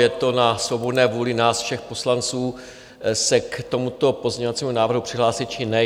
Je to na svobodné vůli nás všech poslanců se k tomuto pozměňovacímu návrhu přihlásit, či ne.